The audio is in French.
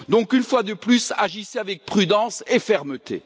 Donc, une fois de plus, agissez avec prudence et fermeté!